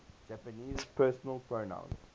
japanese personal pronouns